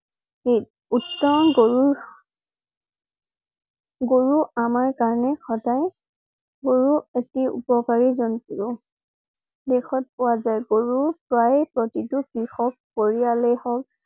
উচিত উত্তম গৰুৰ গৰু আমাৰ কাৰণে সদায় । গৰু এটি উপকাৰী জন্তু। দেশত পোৱা যায়। গৰু প্ৰায় প্ৰতিটো কৃষক পৰিয়ালে হওঁক